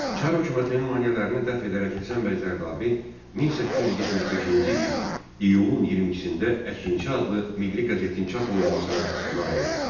Çar hökumətinin maneələrini dəf edərək Həsən bəy Zərdabi 1875-ci il iyulun 22-də Əkinçi adlı milli qəzetin çap olunmasına nail oldu.